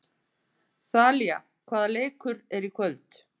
Þalía, hvaða leikir eru í kvöld?